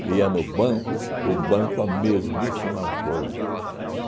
E ia no banco, o banco a mesmíssima coisa.